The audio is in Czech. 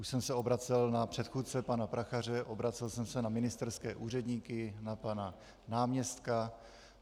Už jsem se obracel na předchůdce pana Prachaře, obracel jsem se na ministerské úředníky, na pana náměstka.